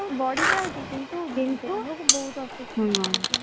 ବଢି ଯାଉଛି କିନ୍ତୁ,